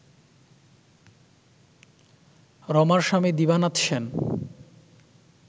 রমার স্বামী দিবানাথ সেন